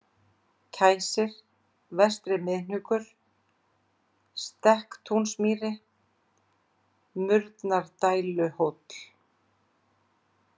Kæsir, Vestri-Miðhnúkur, Stekkatúnsmýri, Murnardæluhóll